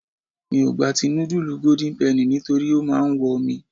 Mi ò gba ti nudulu golden penny nítorí ó máa ń wọ mi.